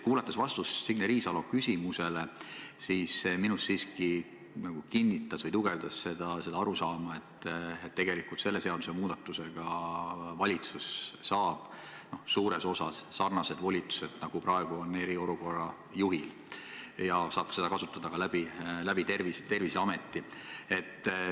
Kuulates vastust Signe Riisalo küsimusele, minus siiski tugevnes arusaam, et selle seadusemuudatusega saab valitsus suures osas sarnased volitused, nagu praegu on eriolukorra juhil, ja saab neid kasutada ka Terviseameti kaudu.